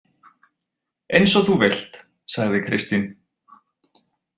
Eins og þú vilt, sagði Kristín.